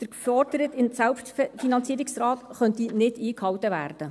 Der geforderte Selbstfinanzierungsgrad könnte nicht eingehalten werden.